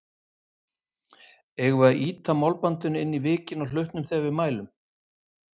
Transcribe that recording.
Eigum við þá að ýta málbandinu inn í vikin á hlutnum þegar við mælum?